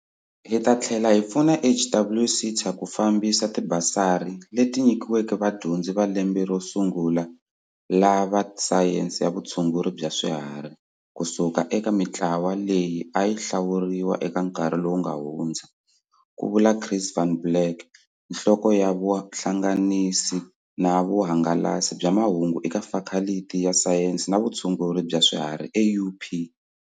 Hi ta tlhela hi pfuna HWSETA ku fambisa tibasari, leti nyikiweke vadyondzi va lembe ro sungula va sayense ya vutshunguri bya swiharhi ku suka eka mitlawa leyi a yi hlawuriwa eka nkarhi lowu nga hundza, Ku vula Chris van Blerk, Nhloko ya Vuhlanga nisa na Vuhangalasi bya Mahungu eka Fakhaliti ya Sayense ya vutshunguri bya Swiharhi eUP.